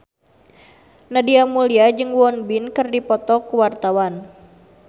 Nadia Mulya jeung Won Bin keur dipoto ku wartawan